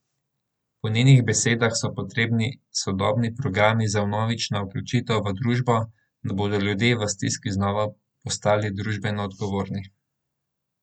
Po njenih besedah so potrebni sodobni programi za vnovično vključitev v družbo, da bodo ljudje v stiski znova postali družbeno odgovorni.